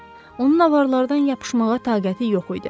Onun avarlardan yapışmağa taqəti yox idi.